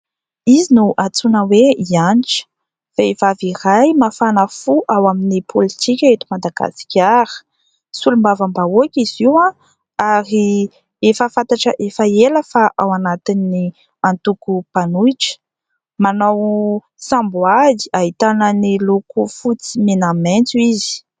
Izy no antsoina hoe Hanitra. Vehivavy iray mafana fo ao amin'ny politika eto Madagasikara ; solombavambahoaka izy io ary efa fantatra efa ela fa ao anatin'ny antoko mpanohitra. Manao samboady ahitana ny loko fotsy, mena, maitso izy.